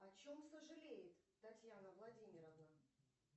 о чем сожалеет татьяна владимировна